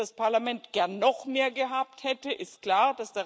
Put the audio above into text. Dass das Parlament gern noch mehr gehabt hätte, ist klar.